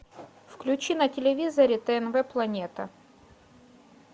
включи на телевизоре тнв планета